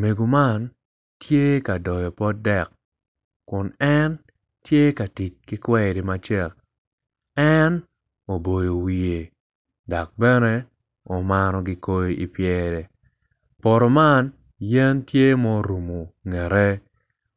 Mego man tye ka doyo pot dek kun en tye ka tic kikweri matar en oboyo wiye dok bene omaro gikoi ipyere poto man yen tye ma orumo tyene i ngete